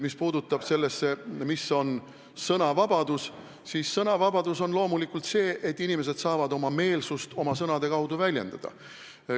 Mis puutub sellesse, mis on sõnavabadus, siis sõnavabadus on loomulikult see, kui inimesed saavad oma meelsust oma sõnade kaudu väljendada.